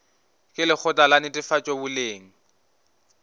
ke lekgotla la netefatšo boleng